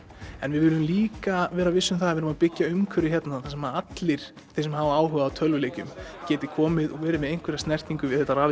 en við viljum líka vera viss um það að við erum að byggja umhverfi hérna þar sem allir þeir sem hafa áhuga á tölvuleikjum geti komið og verið með einhverja snertingu við þetta